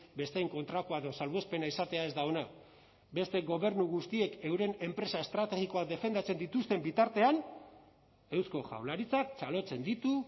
besteen kontrakoa edo salbuespena izatea ez da ona beste gobernu guztiek euren enpresa estrategikoak defendatzen dituzten bitartean eusko jaurlaritzak txalotzen ditu